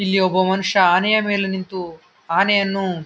ಇಲ್ಲಿ ಒಬ್ಬ ಮನುಷ್ಯ ಆನೆಯ ಮೇಲೆ ನಿಂತು ಆನೆಯನ್ನು--